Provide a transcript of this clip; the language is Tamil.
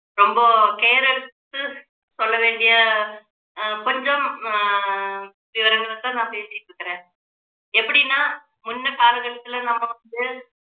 ரொம்ப care எடுத்து சொல்ல வேண்டிய அஹ் கொஞ்சம் ஆஹ் விவரங்களைத் தான் நான் பேசிட்டு இருக்குறேன் எப்படின்னா முன்ன காலகட்டத்துல நம்ம